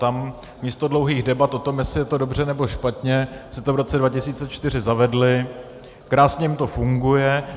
Tam místo dlouhých debat o tom, jestli je to dobře, nebo špatně, si to v roce 2004 zavedli, krásně jim to funguje.